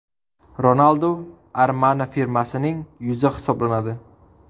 Ronaldu Armani firmasining yuzi hisoblanadi.